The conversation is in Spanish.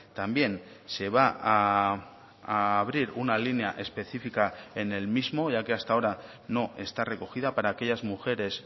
también se va a abrir una línea específica en el mismo ya que hasta ahora no está recogida para aquellas mujeres